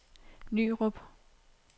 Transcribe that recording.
Nyrup